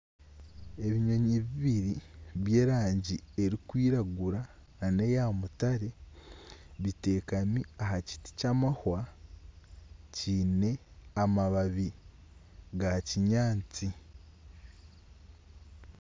Ebinyonyi bibiri by'erangi erikwiragura na eya mutare bitekami aha kiti ky'amahwa kyine amababi ga kinyaantsi